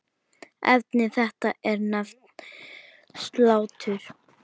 Efni þetta er nefnt slátur.